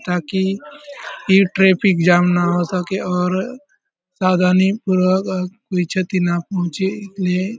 ताकि ये traffic jam न हो सके और सावधानी पूर्वक कोई क्षति ना पहुंचे इसलिए --